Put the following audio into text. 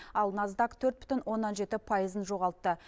ал наздак төрт бүтін оннан жеті пайызын жоғалтты